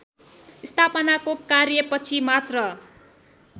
स्थापनाको कार्यपछि मात्र